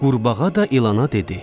Qurbağa da ilana dedi.